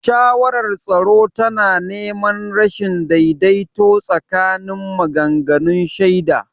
Shawarar tsaro tana neman rashin daidaito tsakanin maganganun shaida.